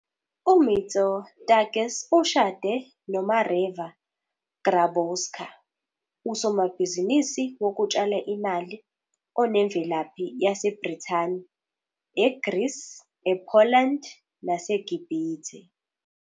UMitsotakis ushade noMareva Grabowska, usomabhizinisi wokutshala imali onemvelaphi yaseBrithani, eGreece, ePoland naseGibhithe.